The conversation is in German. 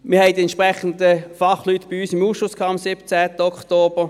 Wir hatten die entsprechenden Fachleute bei uns im Ausschuss, am 17. Oktober.